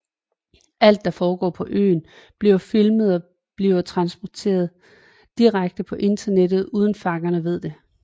Alt der forgår på øen bliver filmet og bliver transmittet direkte på internettet uden fangerne ved det